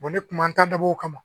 ne kuma taa dabɔ kama